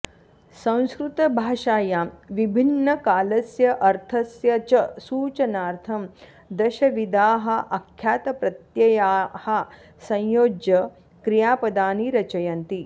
संस्कृतभाषायां विभिन्नकालस्य अर्थस्य च सूचनार्थं दश विधाः आख्यातप्रत्ययाः संयोज्य क्रियापदानि रचयन्ति